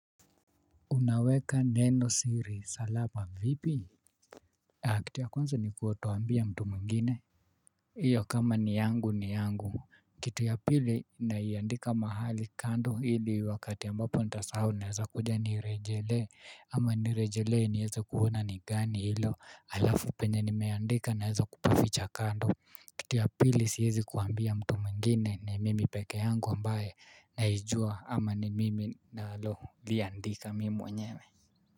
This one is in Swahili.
Unaweka neno siri salapa vipi? Kitu ya kwanza ni kutoambia mtu mwingine. Iyo kama ni yangu ni yangu. Kitu ya pili naiandika mahali kando hili wakati ambapo nitasahau naweza kuja niirejelee. Ama nirejelee niweze kuona ni gani hilo. Alafu penye nimeandika naweza kupaficha kando. Kitu ya pili siwezi kuambia mtu mwingine ni mimi peke yangu ambaye naijua ama ni mimi nalo liandika mimi mwenyewe.